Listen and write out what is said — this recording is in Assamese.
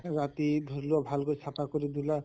ৰাতি ধৰি লোৱা ভালকৈ চাফা কৰি দিলা